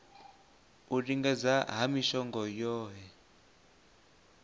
u lingedza ha mishongo yohe